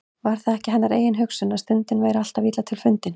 Var það ekki hennar eigin hugsun, að stundin væri alltaf illa til fundin.